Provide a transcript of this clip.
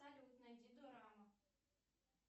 салют найди дорама